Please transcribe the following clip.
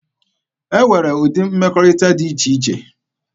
E nwere ụdị mmekọrịta dị iche iche.